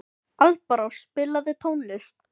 Alparós, spilaðu tónlist.